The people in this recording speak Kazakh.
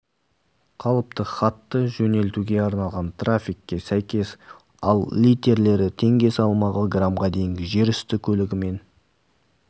қалыпты хатты жөнелтуге арналған тарифке сәйкес ал литерлері теңге салмағы грамға дейінгі жер үсті көлігімен